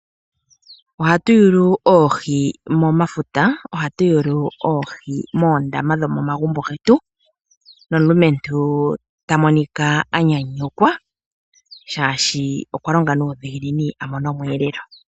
Oha tu yulu oohi momafuta, ohayu yulu oohi moondama dho momagumbo getu, nomulumentu ota monika anyanyukwa shaashi okwa longa nuudhigu a mone omweelelwa.